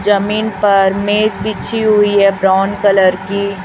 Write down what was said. जमीन पर मेज बिछी हुई है ब्राउन कलर की--